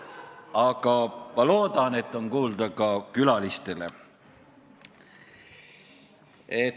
Aga ma loodan, et on kuulda ka külalistele.